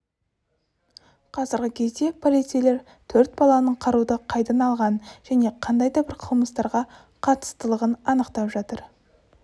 қазіргі кезде полицейлер төрт баланың қаруды қайдан алғанын және қандай да бір қылмыстарға қатыстылығын анықтап жатыр